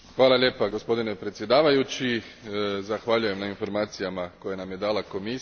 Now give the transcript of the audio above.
Gospodine predsjedavajući, zahvaljujem na informacijama koje nam je dala Komisija.